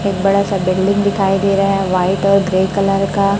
एक बड़ा सा बिल्डिंग दिखाई दे रहा है वाइट और ग्रे कलर का--